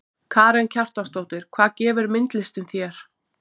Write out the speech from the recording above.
Karen Kjartansdóttir: Hvað gefur myndlistin þér?